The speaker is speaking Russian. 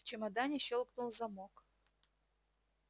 в чемодане щёлкнул замок